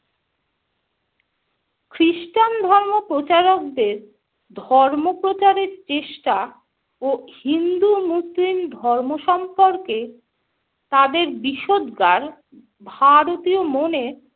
খ্রিস্টান ধর্ম প্রচারকদের ধর্ম প্রচারের চেষ্টা ও হিন্দু মুসলিম ধর্ম সম্পর্কে তাদের বিষোদগার ভারতীয় মনে